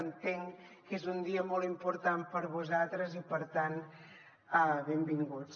entenc que és un dia molt important per a vosaltres i per tant benvinguts